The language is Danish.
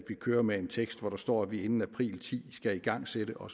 kører med en tekst hvor der står at vi inden april ti skal igangsætte og